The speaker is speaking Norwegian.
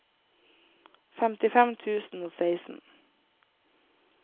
femtifem tusen og seksten